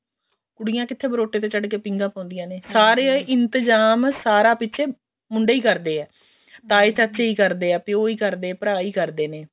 ਕੁੜੀਆਂ ਕਿੱਥੇ ਬਰੋਟੇ ਤੇ ਚੜ ਕੇ ਪੀਂਘਾ ਪਾਉਂਦੀਆਂ ਨੇ ਸਾਰਾ ਇੰਤਜ਼ਾਮ ਸਾਰਾ ਪਿੱਛੇ ਮੁੰਡੇ ਹੀ ਕਰਦੇ ਆ ਤਾਏ ਚਾਚੇ ਹੀ ਕਰਦੇ ਆ ਪਿਓ ਹੀ ਕਰਦੇ ਆ ਭਰਾ ਹੀ ਕਰਦੇ ਨੇ